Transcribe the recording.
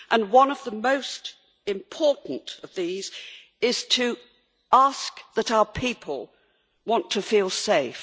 One of the most important of these is to ask that our people can feel safe.